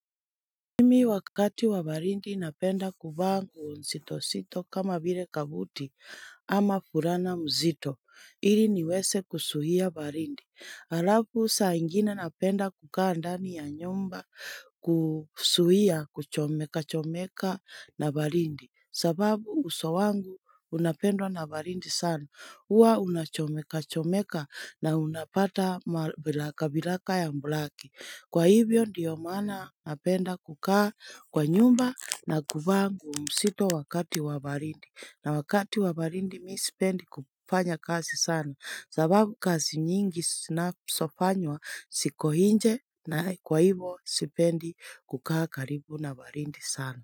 Mimi wakati wa barindi napenda kuvaa nguo nzito nzito kama vile kabuti ama furana mzito ili niweze kusuia barindi. Hhh Alafu saa ingine napenda kukaa ndani ya nyumba kusuhia kuchomeka chomeka na barindi. Sababu uso wangu unapendwa na barindi sana hua unachomeka chomeka na unapata ma vilaka vilaka ya mbulaki. Hhh Kwa hivyo ndiyo mana napenda kukaa kwa nyumba na kuvaa nguo msito wakati wa barindi na wakati wa barindi mi sipendi kupanya kazi sana sababu kazi nyingi sinasofanywa sikohinje nh na kwa hivo sipendi kukaa karibu na barindi sana.